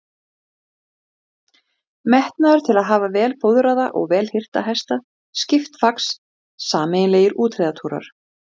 Heimir Már: Hvað eru þið að tala um langan tíma sem hún gæti hugsanlega haft?